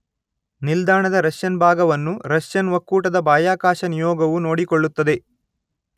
ನಿಲ್ದಾಣದ ರಷ್ಯನ್ ಭಾಗವನ್ನು ರಷ್ಯನ್ ಒಕ್ಕೂಟದ ಬಾಹ್ಯಾಕಾಶ ನಿಯೋಗವು ನೋಡಿಕೊಳ್ಳುತ್ತದೆ